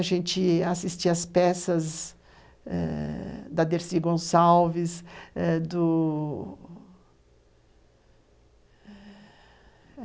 A gente assistia às peças eh da Dercy Gonçalves eh do